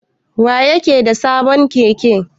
Wa yake da sabon Keke?